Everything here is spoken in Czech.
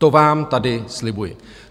To vám tady slibuji."